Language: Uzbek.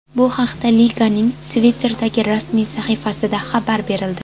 Bu haqda liganing Twitter’dagi rasmiy sahifasida xabar berildi .